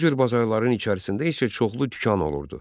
Bu cür bazarların içərisində isə çoxlu dükan olurdu.